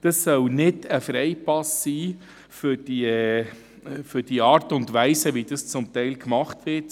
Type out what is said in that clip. Das soll kein Freipass sein für die Art und Weise, wie das teilweise gemacht wird.